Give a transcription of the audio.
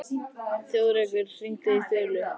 Þjóðrekur, hringdu í Þulu.